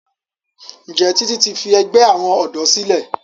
Njé Titi ti fí àgbè àwọn odò sílè?